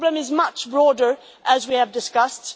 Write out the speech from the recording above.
The problem is much broader, as we have discussed.